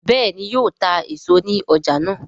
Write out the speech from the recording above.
béèni yíò tá èso ní ọjà náa?